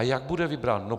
A jak bude vybrán?